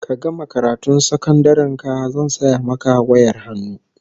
Ka gama karatun sakandaren ka zan saya maka wayar hannu